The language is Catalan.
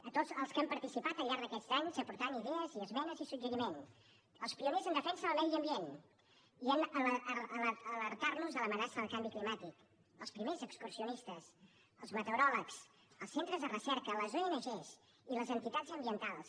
a tots els que han participat al llarg d’aquests anys aportant hi idees i esmenes i suggeriments als pioners en defensa del medi ambient i en alertar nos de l’amenaça del canvi climàtic als primers excursionistes als meteoròlegs als centres de recerca a les ong i les entitats ambientals